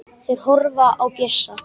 Þeir horfa á Bjössa.